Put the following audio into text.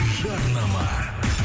жарнама